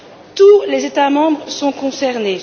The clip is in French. Tous les États membres sont concernés.